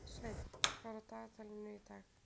Sveinn, hvað er á dagatalinu í dag?